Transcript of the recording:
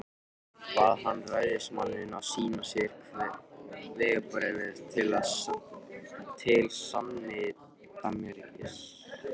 Bað hann ræðismanninn að sýna sér vegabréf til sannindamerkis.